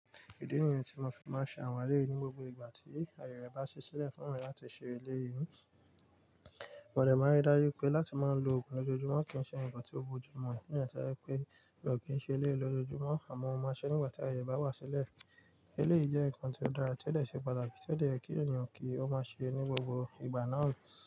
Ìdí nìyẹn tí mo fi máa ń ṣe àwọn ilé yìí ní gbogbo ìgbà tí aye rẹ̀ bá si sílẹ̀ fún mi láti ṣe ilé yìí. Mọ̀lẹ̀ máa ń rí dájú pé láti máa ń lo oògùn lójoojúmọ́ kì ń ṣe ǹkan tó bo jù mọ́, ní ìrètí pé mi ò kí ń ṣe ilé lójoojúmọ́ àmọ́ mo máa ṣe nígbà tí aye bá wá sílẹ̀. Elé yìí jẹ́ ǹkan tó dára, tó de ṣe pàtàkì, tó lè yẹ kí ènìyàn kí ó máa ṣe é ní gbogbo ìgbà náà.